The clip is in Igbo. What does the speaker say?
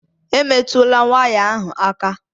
Emetụla waya ahụ aka!